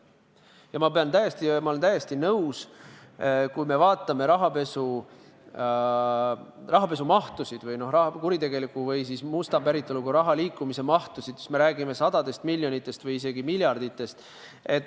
Ja ma olen täiesti nõus, et kui me vaatame rahapesu mahtusid, kuritegeliku või musta päritoluga raha liikumise mahtusid, siis me räägime sadadest miljonitest või isegi miljarditest.